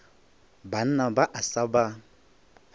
banna ba a sa ba